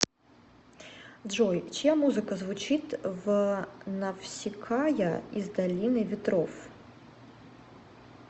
джой чья музыка звучит в навсикая из долины ветров